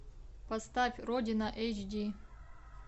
поставь родина эйч ди